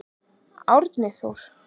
Árni Þór.